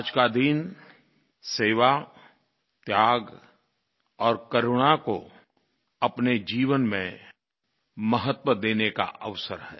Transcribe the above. आज का दिन सेवा त्याग और करुणा को अपने जीवन में महत्व देने का अवसर है